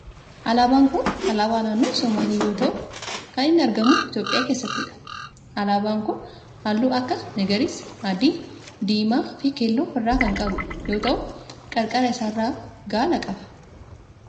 Alaabaan kun alaabaa naannoo somaalii yoo ta'u kan inni argamu Itiyoophiyaa keessattidha. Alaabaan kun halluu akka magariisa, adii, diimaa, fi keelloo of irraa kan qabu yoo ta'u qarqara isaa irraa gaala qaba.